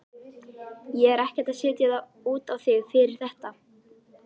Ég er ekkert að setja út á þig fyrir þetta.